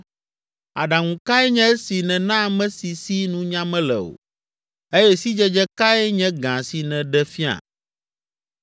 Aɖaŋu kae nye esi nèna ame si si nunya mele o! Eye sidzedze kae nye gã si nèɖe fia!